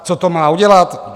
Co to má udělat?